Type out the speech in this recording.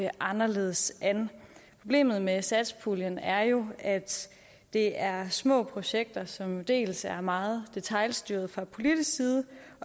anderledes an problemet med satspuljen er jo at det er små projekter som dels er meget detailstyret fra politisk side